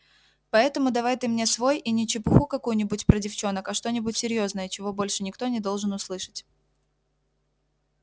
поэтому давай ты мне свой и не чепуху какую-нибудь про девчонок а что-нибудь серьёзное чего больше никто не должен услышать